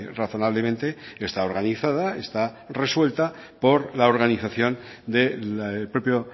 razonablemente está organizada está resuelta por la organización del propio